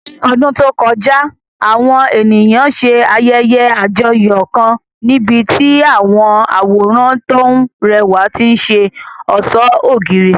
Ní ọdún tó kọjá, àwọn ènìyàn ṣe ayẹyẹ àjọyọ̀ kan níbi tí àwọn àwòrán tó rẹwà ti ṣe ọ̀ṣọ́ ògiri.